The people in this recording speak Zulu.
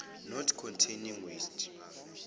not containing waste